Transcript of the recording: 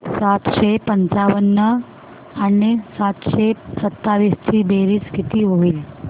सातशे पंचावन्न आणि सातशे सत्तावीस ची बेरीज किती होईल